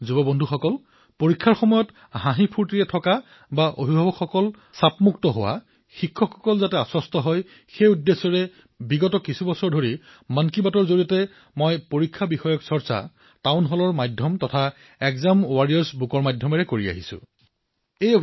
মোৰ তৰুণ বন্ধুবান্ধৱীৱে হাঁহিস্ফূৰ্তিৰে পৰীক্ষাত বহক অভিভাৱক উদ্বিগ্ন মুক্ত হওক শিক্ষক আশ্বস্ত হওক এই উদ্দেশ্যৰেই বিগত কেইবা বছৰো আমি মন কী বাতৰ জৰিয়তে পৰীক্ষাৰ ওপৰত চৰ্চা টাউল হলৰ মাধ্যমেৰে অথবা এগজাম ৱাৰিয়ৰ্ছ কিতাপৰ মাধ্যমেৰে নিৰন্তৰে প্ৰয়াস কৰি আছো